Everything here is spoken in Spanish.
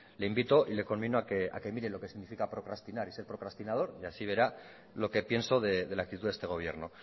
le invito y le conmino a que mire lo que significa procrastinar y ser procrastinador y así verá lo que pienso de la actitud de este gobierno